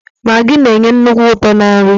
Magii na-enye nnukwu uto na nri.